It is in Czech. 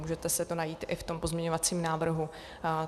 Můžete si to najít i v tom pozměňovacím návrhu.